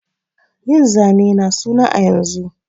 Yin zane na suna a yanzu